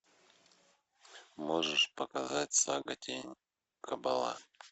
можешь показать сага тень кабала